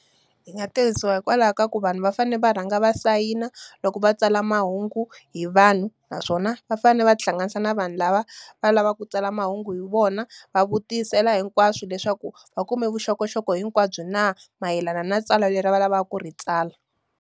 Yi nga tirhisiwa hikwalaho ka ku vanhu va fanele va rhanga va sayina loko va tsala mahungu hi vanhu. Naswona va fanele va ti hlanganisa na vanhu lava va lavaka ku tsala mahungu hi vona. Va vutisela hinkwaswo leswaku, va kume vuxokoxoko hinkwabyo na mayelana na tsala leri va lavaka ku ri tsala.